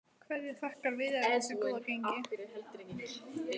Hverju þakkar Viðari þessu góða gengi?